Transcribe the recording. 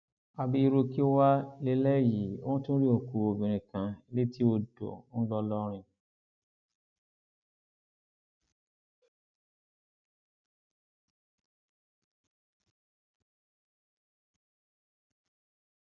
àbí irú kí wàá lélẹyìí wọn tún rí òkú obìnrin kan létí odò ńlọrọrìn